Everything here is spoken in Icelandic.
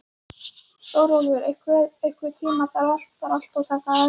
Stórólfur, einhvern tímann þarf allt að taka enda.